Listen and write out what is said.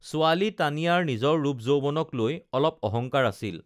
ছোৱালী তানিয়াৰ নিজৰ ৰূপ যৌৱনক লৈ অলপ অহংকাৰ আছিল